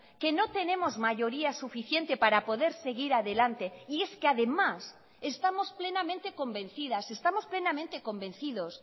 que no tenemos mayoría suficiente para poder seguir adelante y es que además estamos plenamente convencidas estamos plenamente convencidos